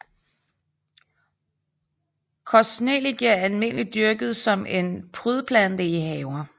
Kostnellike er almindeligt dyrket som en prydplante i haver